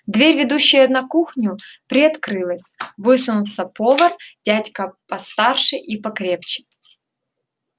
дверь ведущая на кухню приоткрылась высунулся повар дядька постарше и покрепче